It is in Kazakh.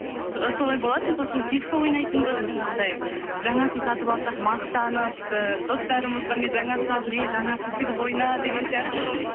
і солай болатын сосын фишка ойнайтынбыз жаңағыдай жаңасын сатып алсақ мақтанып і достарымызға мен жаңасын алдым эй жаңасын тігіп ойна деген сияқты сондай болып